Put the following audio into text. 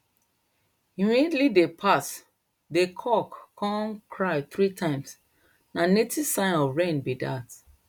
immediately dey pass dey c9ck come cry three times na native sign of rain be dat